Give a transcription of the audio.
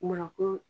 Munna ko